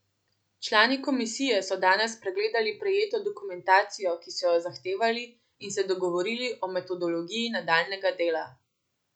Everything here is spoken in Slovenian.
Člani komisije so danes pregledali prejeto dokumentacijo, ki so jo zahtevali, in se dogovorili o metodologiji nadaljnjega dela.